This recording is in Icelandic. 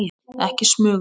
Ekki smuga!